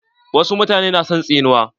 Wasu mutane na son tsinuwa.